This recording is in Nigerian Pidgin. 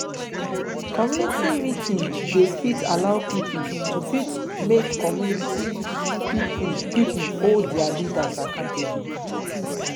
community meeting dey fit allow pipo to fit make community pipo pipo hold their leaders accountable